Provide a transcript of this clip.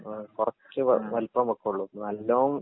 ആ കൊറച്ച് വലുപ്പം വെക്കൊള്ളു നല്ലോം.